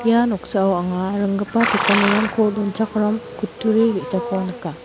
ia noksao anga ringgipa pekanirangko donchakram kutturi ge·sako nika.